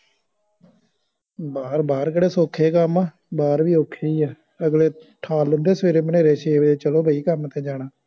ਬਾਹਰ ਬਾਹਰ ਕੇਹੜਾ ਸੋਖੇ ਕਾਮ ਆ ਬਾਹਰ ਵੀ ਔਖੇ ਈ ਆ ਅਗਲੇ ਠਾਲ ਲੈਂਦਾ ਸਵਾਰੇ ਮਨੇਰੇ ਛੇ ਵਜੇ ਚਲੋ ਬਾਈ ਕਾਮ ਤੇ ਜਾਣਾ